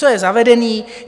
Co je zavedené.